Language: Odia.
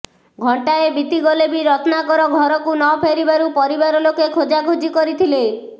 ଘଣ୍ଟାଏ ବିତିଗଲେ ବି ରତ୍ନାକର ଘରକୁ ନ ଫେରିବାରୁ ପରିବାର ଲୋକେ ଖୋଜାଖୋଜି କରିଥିଲେ